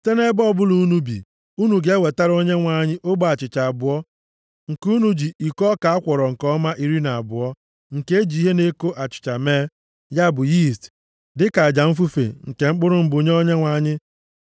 Site nʼebe ọbụla unu bi, unu ga-ewetara Onyenwe anyị ogbe achịcha abụọ nke unu ji iko ọka a kwọrọ nke ọma iri na abụọ, nke e ji ihe na-eko achịcha mee, ya bụ yiist, dịka aja mfufe nke mkpụrụ mbụ nye Onyenwe anyị.